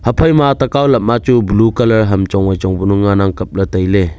haphaima takao lam ma chu blue colour ham chongvai chong kunu nganang kapley.